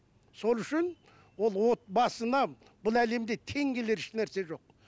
сол үшін ол отбасына бұл әлемде тең келер еш нәрсе жоқ